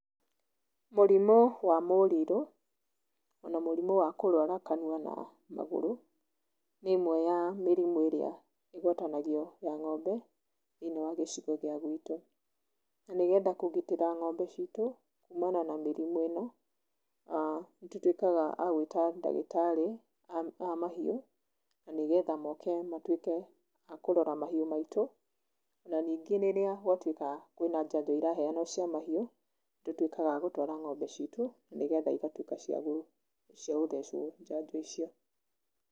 Mũrimũ wa mũrirũ, ona mũrimũ wa kũrwara kanua na magũrũ, nĩ ĩmwe ya mĩrimũ ĩria ĩgwatanagio ya ng'ombe thĩiniĩ wa gĩcigo gĩa gwĩtũ. Na nĩ getha kũgitĩra ng'ombe citũ kumana na mĩrimũ ino nĩ tũtuĩkaga a gwĩta ndagĩtarĩ a mahiũ na nĩgetha moke matuĩke a kũrora mahiũ maitũ na ningĩ rĩrĩa gwatuĩka kwĩna njanjo ĩraheanwo cia mahiũ nĩ tũtuĩkaga a gũtwara ng'ombe citũ nĩgetha ĩgatuĩka cia gũthecwo njanjo icio.